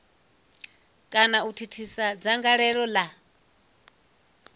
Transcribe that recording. kana u thithisa dzangalelo la